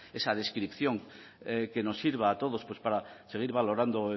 esa descripción que nos sirva a todos para seguir valorando